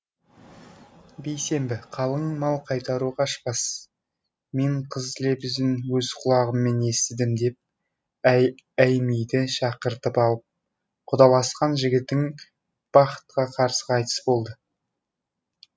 бейсенбі қалың мал қайтару қашпас мен қыз лебізін өз құлағыммен естісем деп әймиді шақыртып алып құдаласқан жігітің бақытқа қарсы қайтыс болды